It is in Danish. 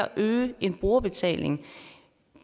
øge en brugerbetaling